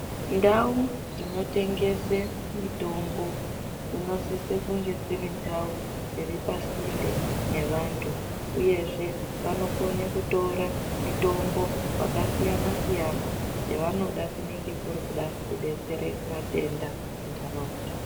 Ndau dzinotengese mitombo, dzinosise kunge dzirindau dziripasinde nevantu uyezveve vanokone kutora mitombo yakasiyana-siyana yevanoda kunenge kuri kuda kudetsere matenda muntaraunda.